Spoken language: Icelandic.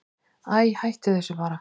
Æi, hættu þessu bara.